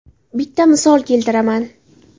Bitta misol keltiraman.